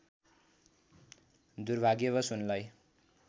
दुर्भाग्यवस उनलाई